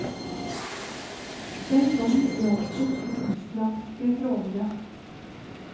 Den gang gjaldt det to islandske trålere.